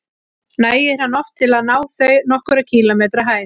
Nægir hann oft til að þau ná nokkurra kílómetra hæð.